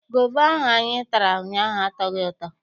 Gova ahụ anyị tara ụnyaahụ atọghị ụtọ.